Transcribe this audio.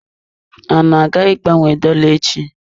I na-aga ịgbanwe dolla echi?